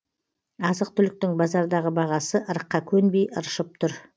азық түліктің базардағы бағасы ырыққа көнбей ыршып тұр